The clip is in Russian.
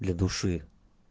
для души